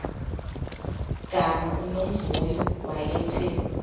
gama unomvuyo wayethe